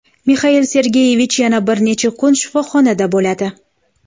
Mixail Sergeyevich yana bir necha kun shifoxonada bo‘ladi.